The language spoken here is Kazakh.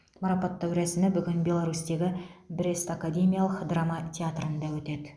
марапаттау рәсімі бүгін беларусьтегі брест академиялық драма театрында өтеді